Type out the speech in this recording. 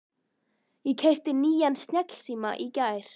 Ég keypti nýjan snjallsíma í gær.